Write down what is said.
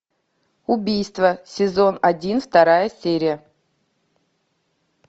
убийство сезон один вторая серия